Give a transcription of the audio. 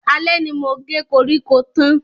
Alẹ́ ni mo ge koríko tán.